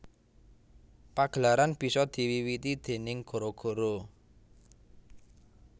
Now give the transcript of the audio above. Pagelaran bisa diwiwiti déning gara gara